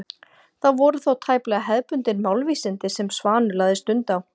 Það voru þó tæplega hefðbundin málvísindi sem Svanur lagði stund á.